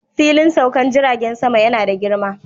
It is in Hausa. Filin saukar jiragen sama yana da girma